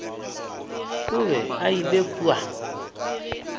o be a ile kua